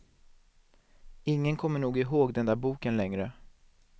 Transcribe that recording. Ingen kommer nog ihåg den där boken längre.